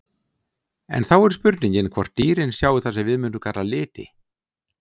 En þá er spurningin hvort dýrin sjái það sem við mundum kalla liti?